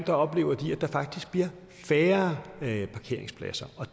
oplever at der faktisk bliver færre parkeringspladser og